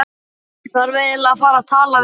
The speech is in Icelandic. Ég þarf eiginlega að fara og tala við mann.